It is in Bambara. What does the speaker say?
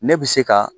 Ne bɛ se ka